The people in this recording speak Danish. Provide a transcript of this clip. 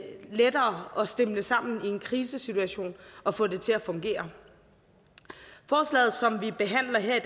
lettere at stimle sammen i en krisesituation og få det til at fungere forslaget som vi behandler her i